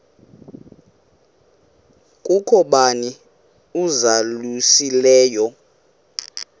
kukho bani uzalusileyo